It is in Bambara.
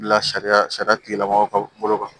Bila sariya sariya tigilamɔgɔ ka bolo kan